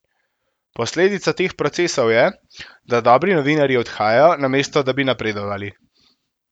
Posledica teh procesov je, da dobri novinarji odhajajo, namesto da bi napredovali.